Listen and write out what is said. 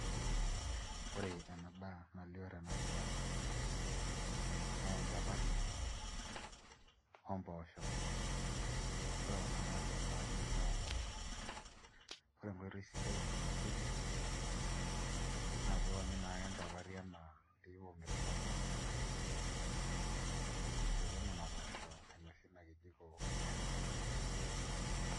Ore ena daa nalio tena pisha naa enchapati ompoosho ore kuna naatii esaani naa mpoosho, ore enkoitoi sidai nainosieki naa piionyu naake enchapati enaa pii ibung'ita ele tung'ani tenkaina aisotie nena poosho ainosie ina kijiko nairragita tina saani.